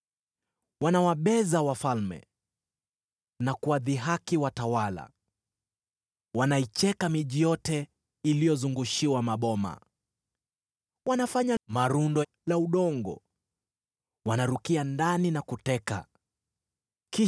Wanawabeza wafalme, na kuwadhihaki watawala. Wanaicheka miji yote iliyozungushiwa maboma; wanafanya malundo ya udongo na kuiteka hiyo miji.